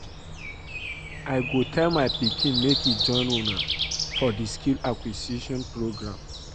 I go tell my pikin make e join una for the skill acquisition program